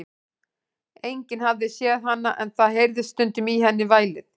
Enginn hafði séð hana, en það heyrðist stundum í henni vælið.